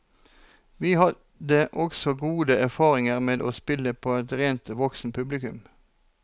Vi hadde også gode erfaringer med å spille for et rent voksenpublikum.